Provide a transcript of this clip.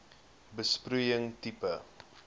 besproeiing tipe